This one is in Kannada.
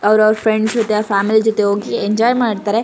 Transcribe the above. ಅವ್ರ್ ಅವ್ರ್ ಫ್ರೆಂಡ್ಸ್ ಜೊತೆ ಫ್ಯಾಮಿಲಿ ಜೊತೆ ಹೋಗಿ ಎಂಜಾಯ್ ಮಾಡ್ತಾರೆ.